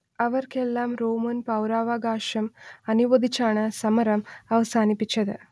അവർക്കെല്ലാം റോമൻ പൗരാവകാശം അനുവദിച്ചാണ് സമരം അവസാനിപ്പിച്ചത്